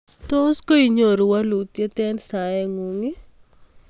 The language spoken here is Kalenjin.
tos koinyoru walutyet eng saengung?